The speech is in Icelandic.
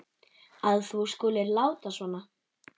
að þú skulir láta svona.